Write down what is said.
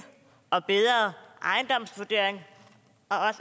og bedre ejendomsvurderinger